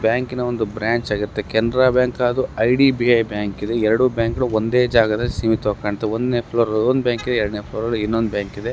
ಇದು ಬ್ಯಾಂಕಿನ ಒಂದು ಚಿತ್ರಣವಾಗಿದೆ ಕೆನರಾ ಬ್ಯಾಂಕ್ ಹಾಗೂ ಹಾಗೂ I D B I bank ಎರಡು ಬ್ಯಾಂಕ ಗಳು ಒಂದೇ ಜಾಗದಲ್ಲಿ ಸೀಮಿತ ಕಾಣ್ತಿದೆ ಒಂದು ಫ್ಲೋರ್ ಅಲ್ಲಿ ಒಂದ ಬ್ಯಾಂಕ್ ಇದೆ ಎರಡನೇ ಫ್ಲೋರ್ ಅಲ್ಲಿ ಇನ್ನೊಂದ್ ಬ್ಯಾಂಕ್ ಇದೆ .